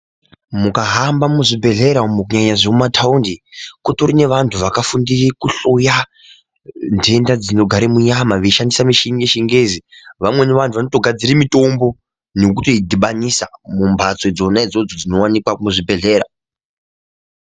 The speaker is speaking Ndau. Mukahamba muzvibhedhlera umo pheya zvemumataundi, kutori nevantu vakafundira kuhloya nhenda dzinogare munyama veishandisa mushini yechingezi. Vamweni vantu vanotogadzire mitombo nokutoyi dhibanisa mumbatso dzona idzodzo dzinowanikwe muzvibhedhlera.